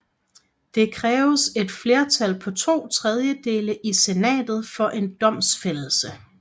Der kræves et flertal på to tredjedele i senatet for en domfældelse